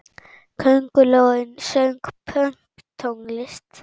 Köngulóin söng pönktónlist!